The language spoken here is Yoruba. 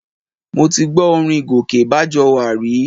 Mo ti gbọ́ orin Gòkè Bájọwà rí